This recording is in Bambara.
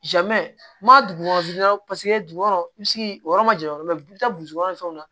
ma dugu kɔnɔ dugu kɔnɔ i bɛ se k'i yɔrɔ ma janya yɔrɔ bɛɛ i bɛ taa ni fɛnw na